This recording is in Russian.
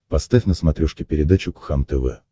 поставь на смотрешке передачу кхлм тв